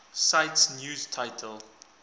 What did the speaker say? cite news title